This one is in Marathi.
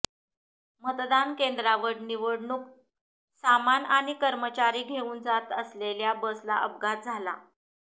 मतदान केंद्रावर निवडणूक सामान आणि कर्मचारी घेऊन जात असलेल्या बसला अपघात झाला